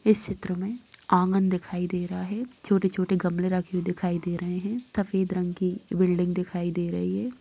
इस चित्र में ऑंगन दिखाई दे रहा है। छोटी-छोटे गमले रखे हुए दिखाई दे रहे हैं सफ़ेद रंग की बिल्डिंग दिखाई दे रही है।